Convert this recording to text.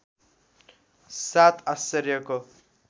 सात आश्चर्यको